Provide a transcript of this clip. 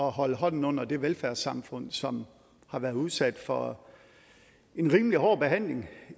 holde hånden under det velfærdssamfund som har været udsat for en rimelig hård behandling